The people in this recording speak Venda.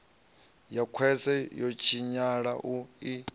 ha khwese ho tshinyala i